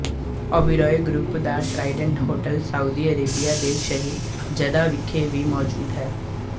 Oberoi group ਦਾ Trident hotel Saudi Arabia ਦੇ ਸ਼ਹਿਰ ਜੱਦਾ ਵਿਖੇ ਵੀ ਮੋਜੂਦ ਹੈ